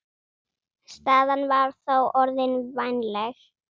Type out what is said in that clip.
Staðan var þá orðin vænleg.